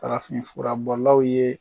Farafin furabɔlaw ye